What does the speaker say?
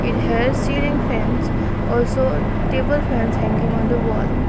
it has ceiling fans also table fan hanging on the wall.